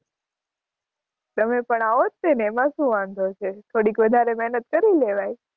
તમે પણ આવો જ છો ને એમાં શું વાંધો છે, થોડીક વધારે મહેનત કરી લેવાય.